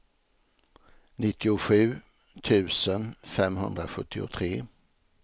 nittiosju tusen femhundrasjuttiotre